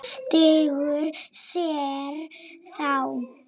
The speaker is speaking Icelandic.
Stingur sér þá.